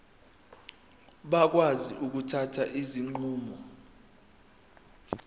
bakwazi ukuthatha izinqumo